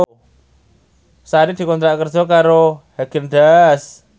Sari dikontrak kerja karo Haagen Daazs